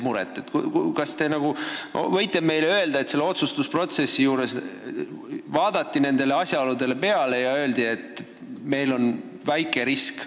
Kas te võite meile öelda, et selles otsustusprotsessis kaaluti neid asjaolusid ja leiti, et risk on väike?